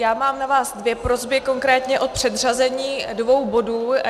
Já mám na vás dvě prosby, konkrétně o předřazení dvou bodů.